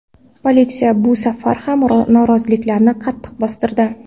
Politsiya bu safar ham noroziliklarni qattiq bostirdi.